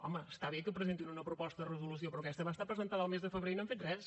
home està bé que presentin una proposta de resolució però aquesta va estar presentada el mes de febrer i no han fet res